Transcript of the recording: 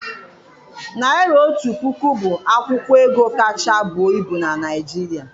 Naịra otu puku bụ akwụkwọ ego kacha buo ibu na Naịjirịa.